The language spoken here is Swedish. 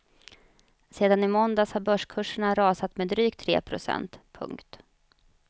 Sedan i måndags har börskurserna rasat med drygt tre procent. punkt